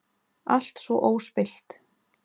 Alltaf svo óspillt.